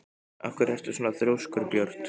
Af hverju ertu svona þrjóskur, Björt?